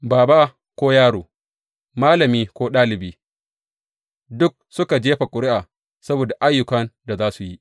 Baba ko yaro, malami ko ɗalibi, duk suka jefa ƙuri’a saboda ayyukan da za su yi.